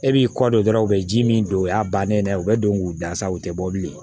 E b'i kɔ don dɔrɔn u bɛ ji min don o y'a bannen ye u bɛ don k'u da sa u tɛ bɔ bilen